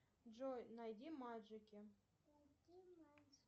джой найди маджики